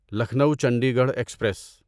Lucknow Chandigarh express